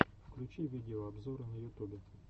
включи видеообзоры на ютубе